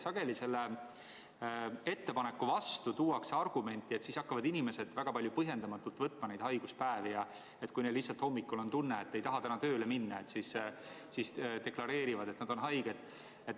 Sageli esitatakse selle ettepaneku vastu argument, et siis hakkavad inimesed väga palju põhjendamatult neid haiguspäevi võtma ja et kui neil lihtsalt hommikul on tunne, et ei taha täna tööle minna, siis deklareerivad, et nad on haiged.